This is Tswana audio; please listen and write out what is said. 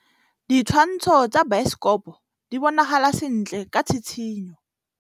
Ditshwantshô tsa biosekopo di bonagala sentle ka tshitshinyô.